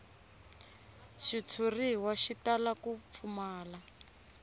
xitshuriwa xi tala ku pfumala